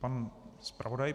Pan zpravodaj.